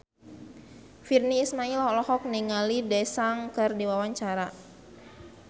Virnie Ismail olohok ningali Daesung keur diwawancara